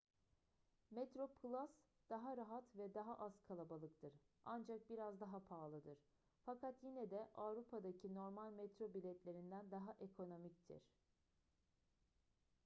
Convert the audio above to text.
metroplus daha rahat ve daha az kalabalıktır ancak biraz daha pahalıdır fakat yine de avrupa'daki normal metro biletlerinden daha ekonomiktir